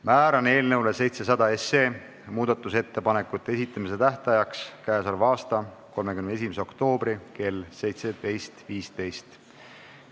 Määran eelnõu 700 muudatusettepanekute esitamise tähtajaks k.a 31. oktoobri kell 17.15.